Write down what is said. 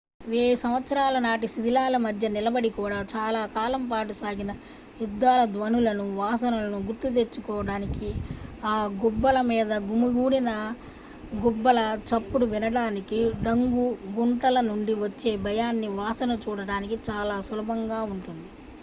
వేయి సంవత్సరాల నాటి శిథిలాల మధ్య నిలబడి కూడా చాలా కాలం పాటు సాగిన యుద్ధాల ధ్వనులను వాసనలను గుర్తు తెచ్చుకోవడానికి ఆ గుబ్బల మీద గుమికూడిన గుబ్బల చప్పుడు వినటానికి డంగు గుంటల నుండి వచ్చే భయాన్ని వాసన చూడటానికి చాలా సులభంగా ఉంటుంది